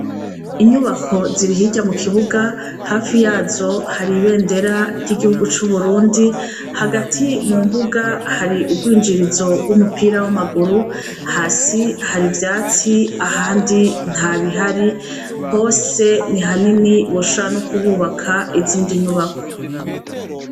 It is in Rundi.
Inyubako ziri hirya mu kibuga, hafi yazo hari ibendera ry'igihugu c'Uburundi, hagati mu mbuga hari urwinjirizo rw'umupira w'amaguru, hasi hari ivyatsi ahandi nta bihari, hose ni hanini boshobora ko kuhubaka izindi nyubakwa.